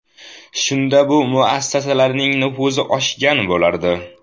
Shunda bu muassasalarning nufuzi oshgan bo‘lardi.